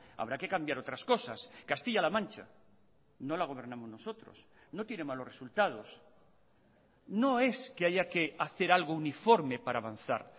habrá que cambiar otras cosas castilla la mancha no la gobernamos nosotros no tiene malos resultados no es que haya que hacer algo uniforme para avanzar